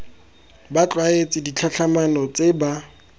ba tlwaetse ditlhatlhamano tse ba